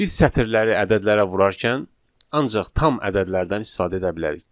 Biz sətirləri ədədlərə vurarkən ancaq tam ədədlərdən istifadə edə bilərik.